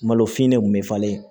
Malo finnen kun bɛ falen